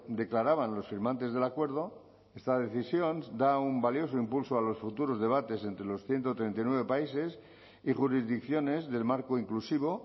declaraban los firmantes del acuerdo esta decisión da un valioso impulso a los futuros debates entre los ciento treinta y nueve países y jurisdicciones del marco inclusivo